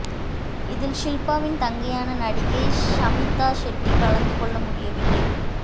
இதில் ஷில்பாவின் தங்கையான நடிகை ஷமீதா ஷெட்டி கலந்து கொள்ள முடியவில்லை